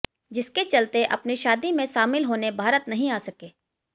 जिसके चलते अपनी शादी में शामिल होने भारत नहीं आ सके